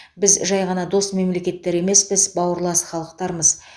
біз жай ғана дос мемлекеттер емеспіз бауырлас халықтармыз